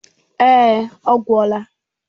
Èé, ọ gwụla.